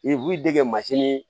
I b'i dege